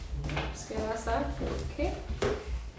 Skal jeg bare starte? Okay